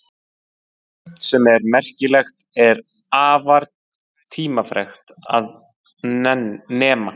Sumt sem er merkilegt er afar tímafrekt að nema.